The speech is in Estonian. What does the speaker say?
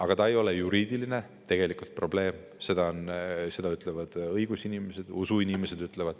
Aga see probleem ei ole juriidiline, seda ütlevad õigusinimesed ja ka usuinimesed.